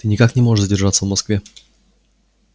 ты никак не можешь задержаться в москве